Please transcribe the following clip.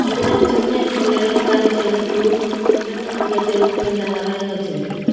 இதுல சின்ன பிள்ளைகளுக்கான செருப்பு பெண்ணுக்கான செருப்புலா நெறைய வெச்சி இருக்கு.